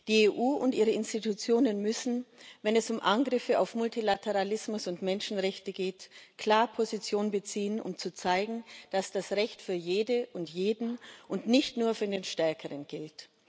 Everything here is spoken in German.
Die EU und ihre Institutionen müssen, wenn es um Angriffe auf Multilateralismus und Menschenrechte geht, klar Position beziehen, um zu zeigen, dass das Recht für jede und jeden und nicht nur für den Stärkeren gilt.